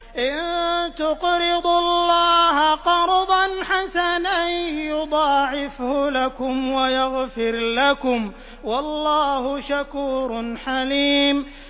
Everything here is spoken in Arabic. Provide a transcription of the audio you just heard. إِن تُقْرِضُوا اللَّهَ قَرْضًا حَسَنًا يُضَاعِفْهُ لَكُمْ وَيَغْفِرْ لَكُمْ ۚ وَاللَّهُ شَكُورٌ حَلِيمٌ